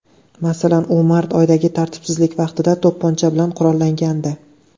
Masalan, u mart oyidagi tartibsizlik vaqtida to‘pponcha bilan qurollangandi.